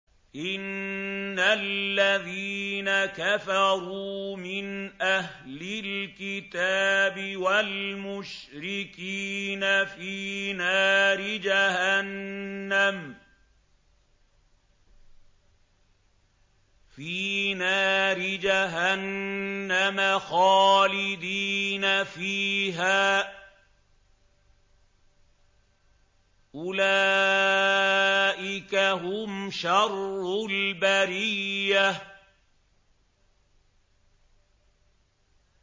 إِنَّ الَّذِينَ كَفَرُوا مِنْ أَهْلِ الْكِتَابِ وَالْمُشْرِكِينَ فِي نَارِ جَهَنَّمَ خَالِدِينَ فِيهَا ۚ أُولَٰئِكَ هُمْ شَرُّ الْبَرِيَّةِ